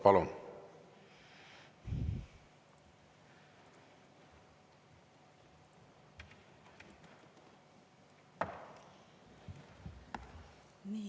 Palun!